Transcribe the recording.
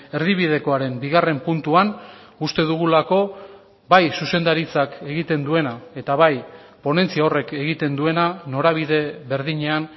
erdibidekoaren bigarren puntuan uste dugulako bai zuzendaritzak egiten duena eta bai ponentzia horrek egiten duena norabide berdinean